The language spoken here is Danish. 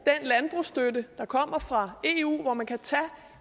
landbrugsstøtte der kommer fra eu så man kan tage